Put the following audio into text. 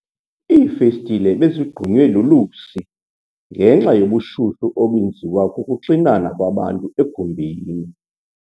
Iifestile bezigqunywe lulusi ngenxa yobushushu obenziwa kukuxinana kwabantu egumbini.